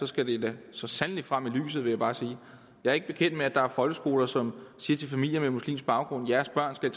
skal det da så sandelig frem i lyset vil jeg bare sige jeg er ikke bekendt med at der er folkeskoler som siger til familier med muslimsk baggrund jeres børn skal